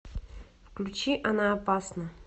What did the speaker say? включи она опасна